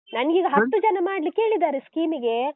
ನಂಗೀಗ ಹತ್ತು ಜನ ಮಾಡ್ಲಿಕ್ಕೆ ಹೇಳಿದ್ದಾರೆ scheme ಗೆ.